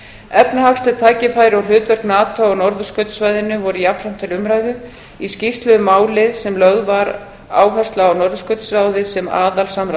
efnahagsleg tækifæri og hlutverk nato á norðurskautssvæðinu voru jafnframt til umræðu í skýrslu um málið var lögð áhersla á norðurskautsráðið sem